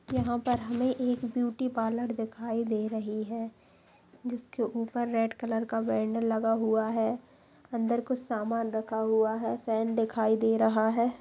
यहाँ पर हमें एक ब्यूटी पार्लर दिखाई दे रही हैं। जिसके ऊपर रेड कलर का बैनर लगा हुआ है अंदर कुछ सामान रखा हुआ है फैन दिखाई दे रहा है।